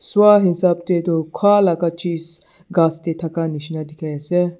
swa hisap tae toh khalaka chis ghas tae thaka nishina dikhiase.